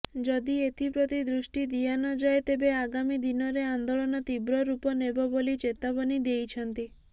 ଯଦି ଏଥିପ୍ରତି ଦୄଷ୍ଟି ଦିଆନଯାଏ ତେବେ ଆଗାମୀ ଦିନରେ ଆନ୍ଦୋଳନ ତିବ୍ର ରୁପ ନେବବୋଲି ଚେତାବନୀ ଦେଇଛନ୍ତି